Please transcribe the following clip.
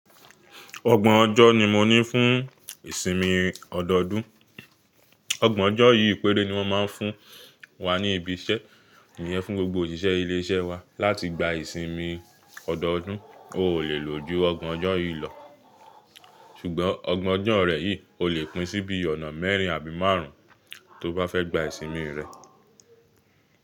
Ọgbọ̀n ọjọ́ ni mo ní fún ìsinmi ọdọọdún. Ọgbọ̀n ọjọ́ yìí péré ni wọ́n máa ń fún wa ní ibi iṣẹ́ iyẹn, fún gbogbo òṣìṣẹ́ ilé iṣẹ́ wa láti gba ìsinmi ọdọọdún. O lè lò ju ọgbọ̀n ọjọ́ yìí lọ, ṣùgbọ́n ọgbọ̀n ọjọ́ rẹ yìí o lè pín sí ibi ọ̀nà mẹ́rin àbí márùn ún tó bá fẹ́ gba ìsinmi rẹ.